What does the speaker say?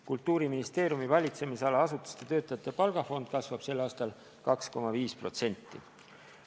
Kultuuriministeeriumi valitsemisala asutuste töötajate palgafond kasvab sel aastal 2,5%.